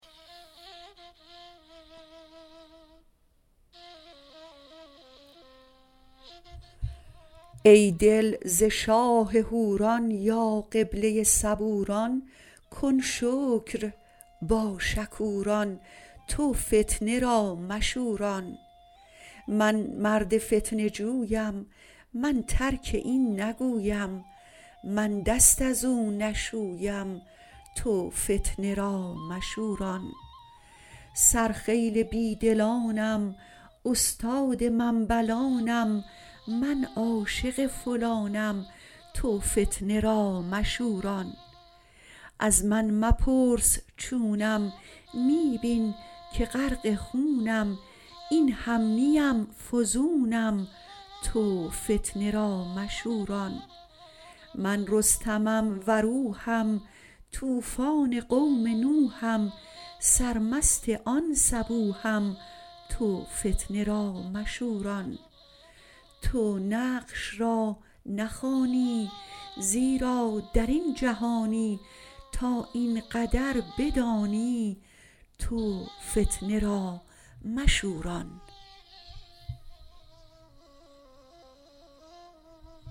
ای دل ز شاه حوران یا قبله صبوران کن شکر با شکوران تو فتنه را مشوران من مرد فتنه جویم من ترک این نگویم من دست از او نشویم تو فتنه را مشوران سرخیل بی دلانم استاد منبلانم من عاشق فلانم تو فتنه را مشوران از من مپرس چونم می بین که غرق خونم این هم نه ام فزونم تو فتنه را مشوران من رستمم و روحم طوفان قوم نوحم سرمست آن صبوحم تو فتنه را مشوران تو نقش را نخوانی زیرا در این جهانی تا این قدر بدانی تو فتنه را مشوران